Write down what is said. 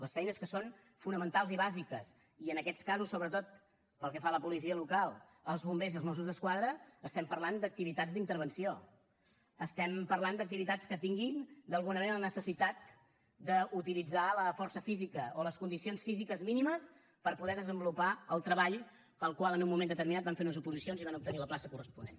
les feines que són fonamentals i bàsiques i en aquests casos sobretot pel que fa a la policia local els bombers i els mossos d’esquadra estem parlant d’activitats d’intervenció estem parlant d’activitats que tinguin d’alguna manera la necessitat d’utilitzar la força física o les condicions físiques mínimes per poder desenvolupar el treball pel qual en un moment determinat van fer unes oposicions i van obtenir la plaça corresponent